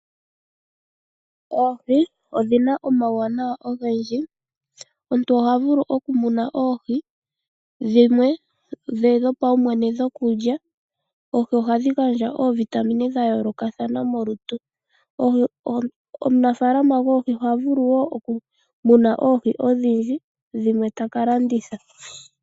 Oohi odhina omawuwanawa ogendji .Omuntu ohavulu oku muna dhimwe odhe dhopawumwene dhokulya .oohi ohasldhi gandja oovitamine dha yoolokathana molutu. Omunafaalama goohi ohavulu woo oku muna oohi odhindji dhimwe ta ka landitha.